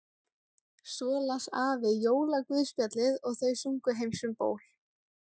Svo las afi jólaguðspjallið og þau sungu Heims um ból.